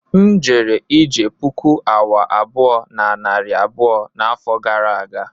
M jere ije puku awa abụọ na narị abụọ n'afọ gara aga